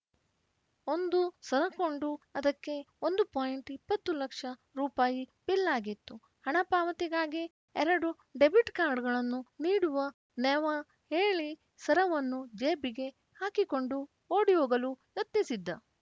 ಒಂದು ಸರ ಕೊಂಡು ಅದಕ್ಕೆ ಒಂದು ಪಾಯಿಂಟ್ ಇಪ್ಪತ್ತು ಲಕ್ಷ ರುಪಾಯಿ ಬಿಲ್‌ ಆಗಿತ್ತು ಹಣ ಪಾವತಿಗಾಗಿ ಎರಡು ಡೆಬಿಟ್‌ ಕಾರ್ಡ್‌ಗಳನ್ನು ನೀಡುವ ನೆವ ಹೇಳಿ ಸರವನ್ನು ಜೇಬಿಗೆ ಹಾಕಿಕೊಂಡು ಓಡಿ ಹೋಗಲು ಯತ್ನಿಸಿದ್ದ